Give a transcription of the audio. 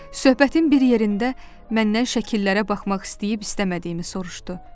Söhbətin bir yerində məndən şəkillərə baxmaq istəyib istəmədiyimi soruşdu.